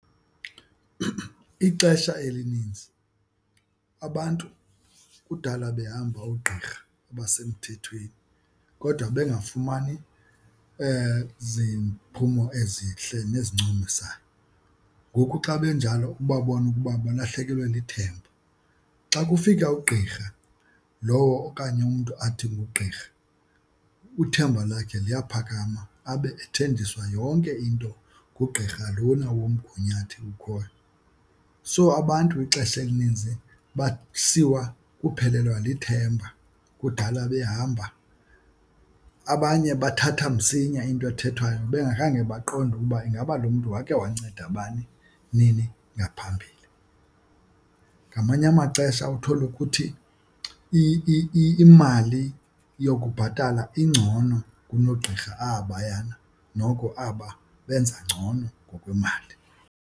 Ixesha elininzi abantu kudala behamba oogqirha abasemthethweni kodwa bengafumani ziphumo ezihle nezincomisayo, ngoku xa benjalo ubabona ukuba balahlekelwe lithemba. Xa kufika ugqirha lowo okanye umntu athi ngugqirha uthemba lakhe liyaphakama abe ethenjiswa yonke into ngugqirha lona womgunyathi ukhoyo. So abantu ixesha elininzi basiwa kuphelelwa lithemba, kudala behamba. Abanye bathatha msinya into ethethwayo bengakhange baqonde ukuba ingaba lo mntu wakhe wancedwa bani, nini ngaphambili. Ngamanye amaxesha uthole ukuthi imali yokubhatala ingcono kunoogqirha abayana, noko aba benza ngcono ngokwemali.